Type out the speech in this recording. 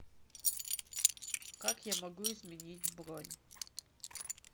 как я могу изменить бронь